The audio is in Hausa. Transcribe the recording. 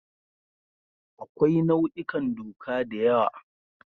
Akwai nau'ikan doka da yawa.